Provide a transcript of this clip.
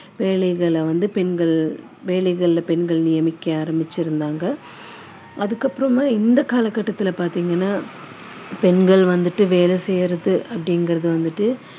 வேலைகளில பெண்கள் நியமிக்க ஆரம்பிச்சுருந்தாங்க அதுக்கப்புறமா இந்த காலகட்டத்தில் பார்த்தீங்கன்னா பெண்கள் வந்துட்டு வேலை செய்யுறது அப்படிங்கறது வந்துட்டு